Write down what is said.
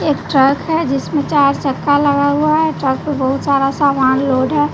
एक ट्रक है जिसमें चार चक्का लगा हुआ है। ट्रक पर बहुत सारा सामान लोड है।